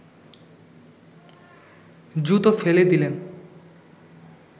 জুতো ফেলে দিলেন